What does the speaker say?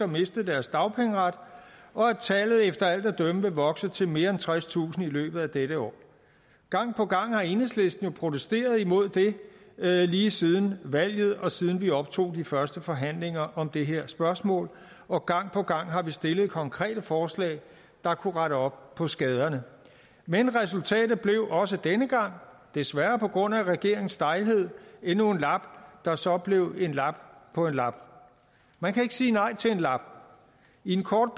mistet deres dagpengeret og at tallet efter alt at dømme vil vokse til mere end tredstusind i løbet af dette år gang på gang har enhedslisten jo protesteret imod det lige siden valget og siden vi optog de første forhandlinger om det her spørgsmål og gang på gang har vi stillet konkrete forslag der kunne rette op på skaderne men resultatet blev også denne gang desværre på grund af regeringens stejlhed endnu en lap der så blev en lap på en lap man kan ikke sige nej til en lap i en kort